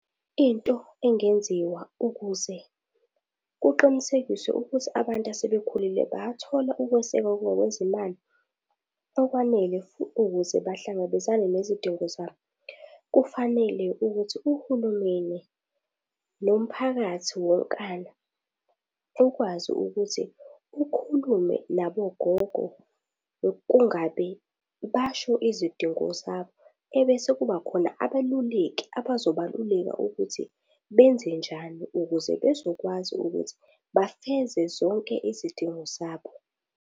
Into engenziwa ukuze kuqinisekiswe ukuthi abantu asebekhulile bayathola ukwesekwa ngokwezimali okwanele ukuze bahlangabezane nezidingo zabo. Kufanele ukuthi uhulumeni nomphakathi wonkana ukwazi ukuthi ukhulume nabo gogo kungabe basho izidingo zabo ebese kubakhona abeluleki abazobaluleka ukuthi benze njani ukuze bezokwazi ukuthi bafeze zonke izidingo zabo.